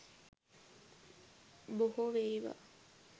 බොහො වේවා